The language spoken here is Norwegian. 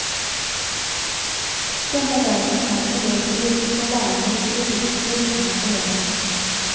Denne dagen er elevstyrt, og lærerne vil bli likestilt med elevene.